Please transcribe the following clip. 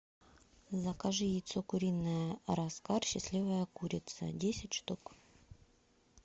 закажи яйцо куриное раскар счастливая курица десять штук